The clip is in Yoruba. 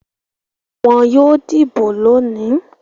Wọn yóò dìbò lónìí.